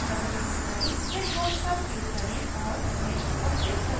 check box पर click करें और next पर click करें